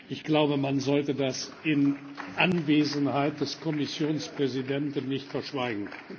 Ich glaube, man sollte das in Anwesenheit des Kommissionspräsidenten nicht verschweigen.